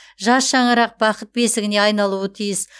жас шаңырақ бақыт бесігіне айналуы тиіс